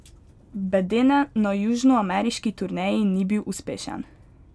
Bedene na južnoameriški turneji ni bil uspešen.